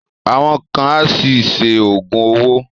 Àwọn kan á ṣì ṣe Ògùn owó